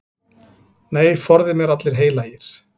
Nei, forði mér allir heilagir.